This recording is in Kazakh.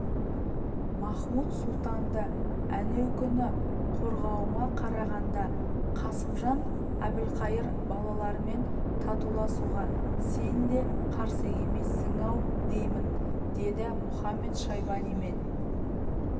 махмуд-сұлтанды әнеукүнгі қорғауыңа қарағанда қасымжан әбілқайыр балаларымен татуласуға сен де қарсы емессің-ау деймін деді мұхамед-шайбанимен